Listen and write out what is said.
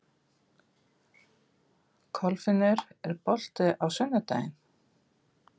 Kolfinnur, er bolti á sunnudaginn?